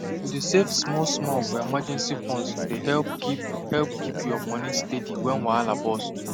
to dey save smallsmall for emergency fund dey help keep help keep your money steady when wahala burst